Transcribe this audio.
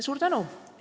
Suur tänu!